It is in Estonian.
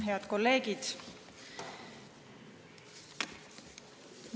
Head kolleegid!